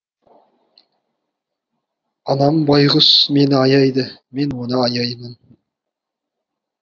анам байқұс мені аяйды мен оны аяймын